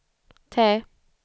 T